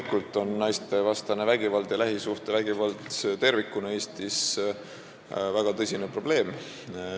Loomulikult on naistevastane vägivald ja lähisuhtevägivald tervikuna Eestis väga tõsine probleem.